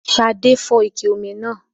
Ṣadé fọ́ ike omi náà